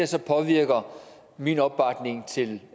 så påvirker min opbakning til